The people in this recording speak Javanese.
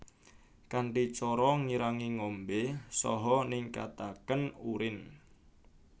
Kanthi cara ngirangi ngombè saha ningkatakén urin